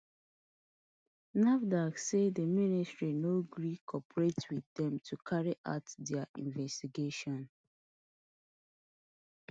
nafdac say di ministry no gree cooperate wit dem to carry out dia investigation